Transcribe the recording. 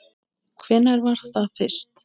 Hvenær var það fyrst?